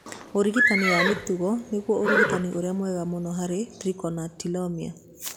Ũrigitani wa mĩtugo nĩguo ũrigitani ũrĩa mwega mũno harĩ trichotillomania.